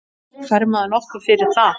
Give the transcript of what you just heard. Fær maður nokkuð fyrir það?